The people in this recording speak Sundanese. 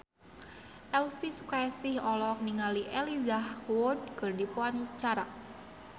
Elvy Sukaesih olohok ningali Elijah Wood keur diwawancara